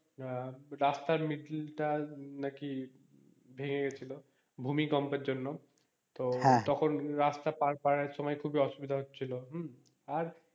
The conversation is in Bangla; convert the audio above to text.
আহ রাস্তার middle টা নাকি ভেঙে গেছিলো ভূমিকম্পের জন্য তো তখন রাস্তার পার করার একসময় সময় খুব ই অসুবিধা হচ্ছিলো হম আর,